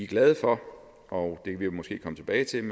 glade for og det kan vi måske komme tilbage til